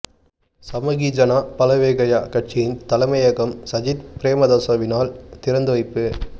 சமகி ஜன பலவேகய கட்சியின் தலைமையகம் சஜித் பிரேமதாசவினால் திறந்து வைப்பு